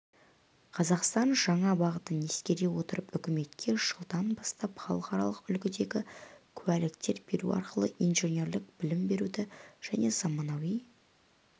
қазақстан жаңа бағытын ескере отырып үкіметке жылдан бастап халықаралық үлгідегі куәліктер беру арқылы инженерлік білім беруді және заманауи